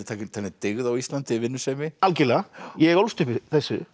talin dyggð á Íslandi vinnusemi algjörlega ég ólst upp í þessu